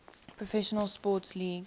professional sports league